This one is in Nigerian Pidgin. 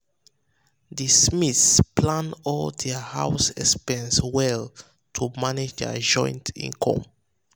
the smiths plan all their um house expenses well to manage their joint income.